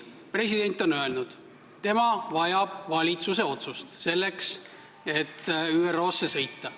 President on öelnud, et tema vajab valitsuse otsust, selleks et ÜRO konverentsile sõita.